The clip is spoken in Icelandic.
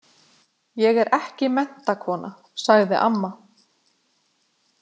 Ég er ekki menntakona, sagði amma.